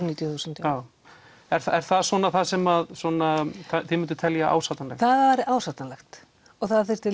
níutíu þúsund já er það er það svona það sem þið mynduð telja ásættanlegt það er ásættanlegt og það þyrfti